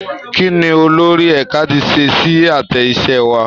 Kí ni olórí ẹ̀ka ti ṣe sí àtẹ iṣẹ́ wa?